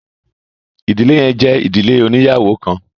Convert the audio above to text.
ìdílé yẹn jẹ ìdílé oniyawo kán